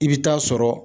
I bɛ taa sɔrɔ